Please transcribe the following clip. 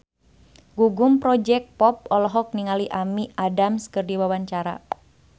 Gugum Project Pop olohok ningali Amy Adams keur diwawancara